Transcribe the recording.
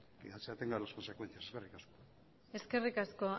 se atenga a las consecuencias eskerrik asko eskerrik asko